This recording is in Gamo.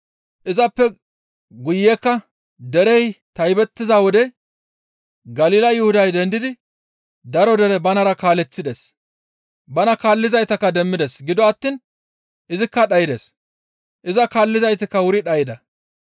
Izappe guyekka derey taybettiza wode Galila Yuhuday dendidi daro dere banara kaaleththides. Bana kaallizaytakka demmides; gido attiin izikka dhaydes; iza kaallizaytikka wuri dhayda.